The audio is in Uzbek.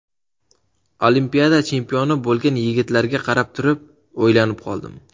Olimpiada chempioni bo‘lgan yigitlarga qarab turib, o‘ylanib qoldim.